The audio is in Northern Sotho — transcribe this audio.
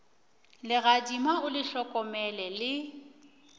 legadima o le hlokomele le